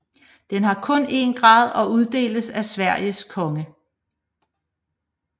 Den har kun en grad og uddeles af Sveriges konge